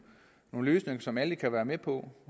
løsninger som alle kan være med på